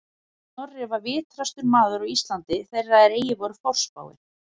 Snorri var vitrastur maður á Íslandi þeirra er eigi voru forspáir